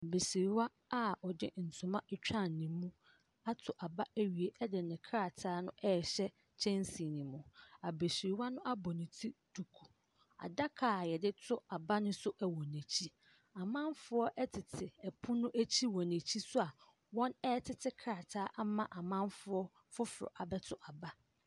Abasiriwa a ɔde toma etwaa ne mu ato aba awie de ne krataa no rehyɛ kyɛnsee no mu. Abesriwa no abu ne ti duku. Adaka a yɛde to aba nso wɔ n'akyi. Amanfoɔ tete pono akyi wɔ n'akyi nso a wɔretete krataa ama foforɔ abɛto aba.